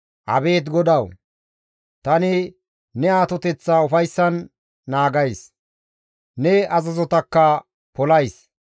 Abeet GODAWU! Tani ne atoteththaa ufayssan naagays; ne azazotakka polays.